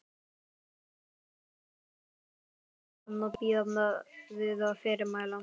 Tilkynnið komu þangað og bíðið fyrirmæla.